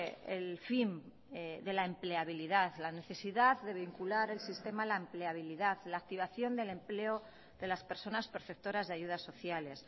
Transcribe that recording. el fin de la empleabilidad la necesidad de vincular el sistema a la empleabilidad la activación del empleo de las personas perceptoras de ayudas sociales